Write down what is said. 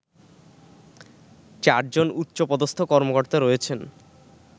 চারজন উচ্চপদস্থ কর্মকর্তা রয়েছেন